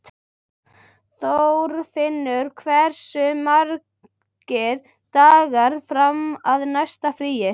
Þorfinna, hversu margir dagar fram að næsta fríi?